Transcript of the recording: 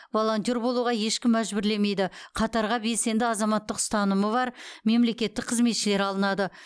волонтер болуға ешкім мәжбүрлемейді қатарға белсенді азаматтық ұстанымы бар мемлекеттік қызметшілер алынады